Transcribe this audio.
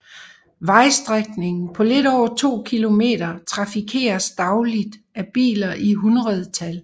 Vejstrækningen på lidt over 2 km trafikeres dagligt af biler i hundredtal